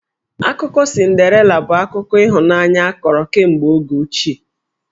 Akụkọ Cinderela bụ akụkọ ịhụnanya a kọrọ kemegbe oge ochie.